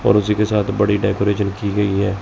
और उसी के साथ बड़ी डेकोरेशन की गई है।